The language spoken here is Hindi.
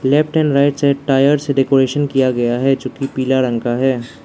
Left and right side tyre से डेकोरेशन किया गया है जो कि पीला रंग का है।